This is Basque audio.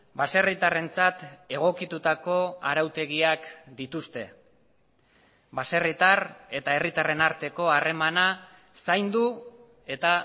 baserritarrentzat egokitutako arautegiak dituzte baserritar eta herritarren arteko harremana zaindu eta